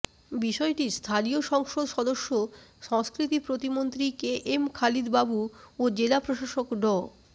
বিষয়টি স্থানীয় সংসদ সদস্য সংস্কৃতি প্রতিমন্ত্রী কেএম খালিদ বাবু ও জেলা প্রশাসক ড